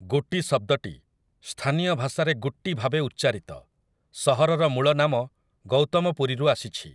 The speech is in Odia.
ଗୁଟି ଶବ୍ଦଟି, ସ୍ଥାନୀୟ ଭାଷାରେ ଗୁଟ୍ଟୀ ଭାବେ ଉଚ୍ଚାରିତ, ସହରର ମୂଳ ନାମ ଗୌତମପୁରୀରୁ ଆସିଛି ।